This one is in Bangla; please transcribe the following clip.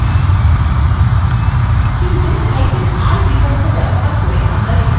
কিন্তুr বিকল্প ব্যবহার করে আমরা এটা করতে পারব